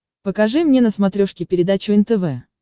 покажи мне на смотрешке передачу нтв